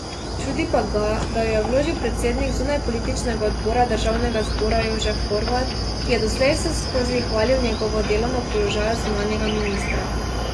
Čudi pa ga, da jo je vložil predsednik zunanjepolitičnega odbora državnega zbora Jožef Horvat, ki je doslej vseskozi hvalil njegovo delo na položaju zunanjega ministra.